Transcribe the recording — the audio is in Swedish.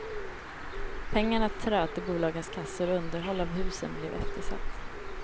Pengarna tröt i bolagens kassor och underhåll av husen blev eftersatt.